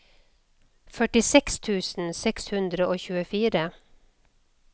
førtiseks tusen seks hundre og tjuefire